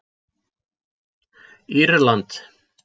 Írland